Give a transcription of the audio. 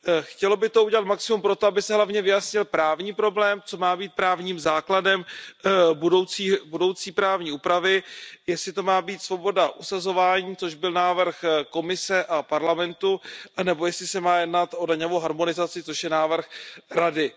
Chtělo by to udělat maximum pro to, aby se hlavně vyjasnil právní problém, co má být právním základem budoucí právní úpravy, jestli to má být svoboda usazování, což byl návrh Komise a Parlamentu, nebo jestli se má jednat o daňovou harmonizaci, což je návrh Rady.